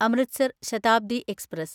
Amritsar Shatabdi express